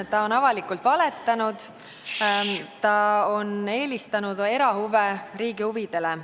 Ta on avalikult valetanud, ta on eelistanud erahuve riigi huvidele.